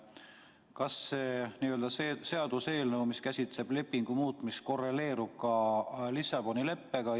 Kas see seaduseelnõu, mis käsitleb lepingu muutmist, korreleerub ka Lissaboni leppega?